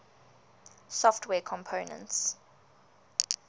software components